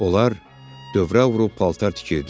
Onlar dövrə vurub paltar tikirdilər.